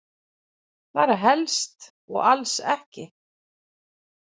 Bara helst og alls ekki.